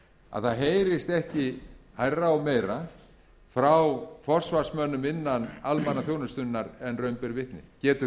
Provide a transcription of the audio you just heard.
að það heyrist ekki hærra og meira frá forsvarsmönnum innan almannaþjónustunnar en raun ber vitni getur